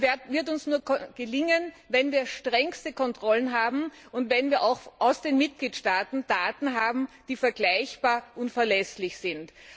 Das wird uns nur gelingen, wenn wir strengste Kontrollen haben und wenn wir auch aus den Mitgliedstaaten Daten erhalten, die vergleichbar und verlässlich sind.